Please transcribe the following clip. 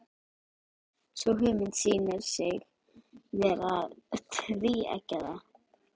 Sú hugmynd sýnir sig vera tvíeggjaða.